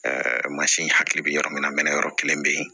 mansin hakili bɛ yɔrɔ min na mɛnɛ yɔrɔ kelen bɛ ye